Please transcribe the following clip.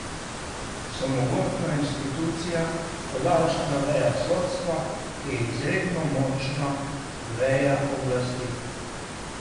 So mogočna institucija, podaljšana veja sodstva, ki je izredno močna veja oblasti.